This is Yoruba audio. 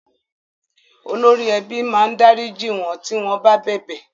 Olórí ẹbí máa dárìjí wọ́n tí wọ́n bá bẹ̀bẹ̀.